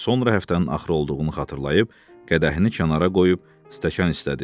Sonra həftənin axırı olduğunu xatırlayıb qədəhini kənara qoyub stəkan istədi.